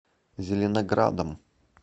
зеленоградом